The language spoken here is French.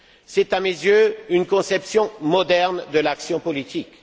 C'est, à mes yeux, une conception moderne de l'action politique.